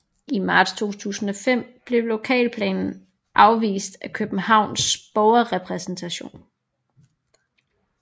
I marts 2005 blev lokalplanen afvist af Københavns Borgerrepræsentation